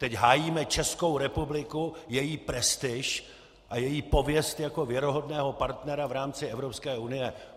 Teď hájíme Českou republiku, její prestiž a její pověst jako věrohodného partnera v rámci Evropské unie.